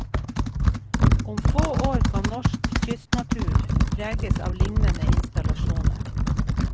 Om få år kan norsk kystnatur preges av lignende installasjoner.